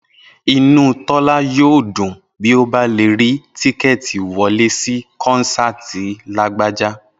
Inú Tọ́lá yóò dùn bí ó bá lè rí tíkẹ́ẹ̀tì wọlé sí kọ́nsáàti Lágbájá